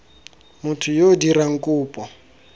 motho yo o dirang kopo